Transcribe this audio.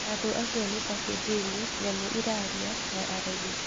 Andũ acio nĩ ta kĩjini, nyamũ iraria, na arogi.